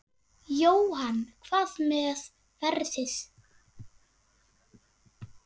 Jóhann: Hvað með veðrið?